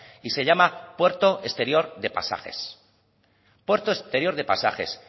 y se llama puerto exterior de pasajes puerto exterior de pasajes